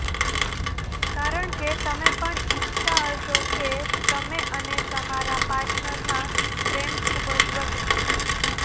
કારણકે તમે પણ ઈચ્છતા હશો કે તમે અને તમારા પાર્ટનરમાં પ્રેમ ખુબજ વધે